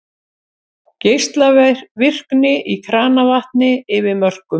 Geislavirkni í kranavatni yfir mörkum